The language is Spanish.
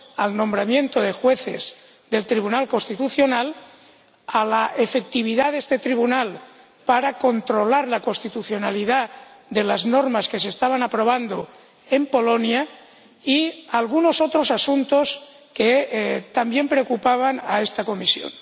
al nombramiento de jueces del Tribunal Constitucional, a la efectividad de este Tribunal para controlar la constitucionalidad de las normas que se estaban aprobando en Polonia y a algunos otros asuntos que también preocupaban a esta Comisión.